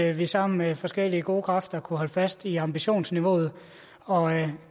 at vi sammen med forskellige gode kræfter kunne holde fast i ambitionsniveauet og